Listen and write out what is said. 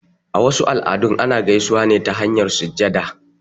A wasu al'adun, ana gaisuwa ne ta hanyar sujjada.